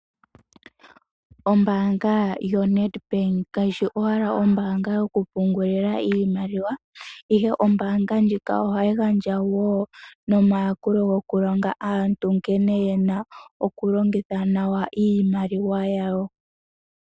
Ombanga yoNedbank kayi shi owala ombanga yoku pungulila iimaliwa ihe ombanga ndjika ohayi gandja wo nomayakulo goku longa aantu nkene yena oku longitha nawa iimaliwa yawo.